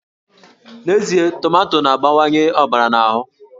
N'ezie, tomato na-abawanye ọbara n'ahụ